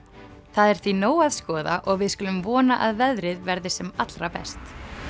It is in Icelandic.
það er því nóg að skoða og við skulum vona að veðrið verði sem allra best